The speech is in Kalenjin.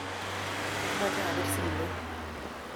kamoche apir simeet.